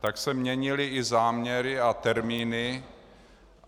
tak se měnily i záměry a termíny.